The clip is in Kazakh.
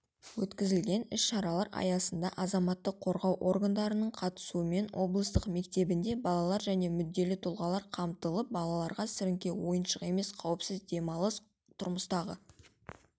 өткізілген іс-шаралар аясында азаматтық қорғау органдарының қатысуымен облыстық мектебінде балалар және мүдделі тұлғалар қамтылып балаларға сіріңке ойыншық емес қауіпсіз демалыс тұрмыстағы